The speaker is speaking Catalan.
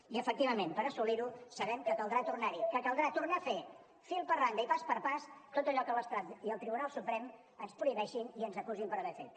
i efectivament per assolir ho sabem que caldrà tornar hi que caldrà tornar a fer fil per randa i pas a pas tot allò que l’estat i el tribunal suprem ens prohibeixin i ens acusin per haver fet